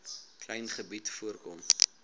klein gebied voorkom